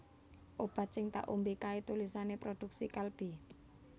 Obat sing tak ombe kae tulisane produksi Kalbe